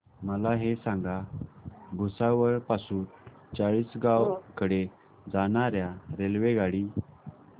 मला हे सांगा भुसावळ पासून चाळीसगाव कडे जाणार्या रेल्वेगाडी